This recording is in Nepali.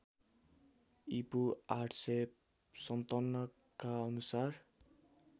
ईपू ८५७ का अनुसार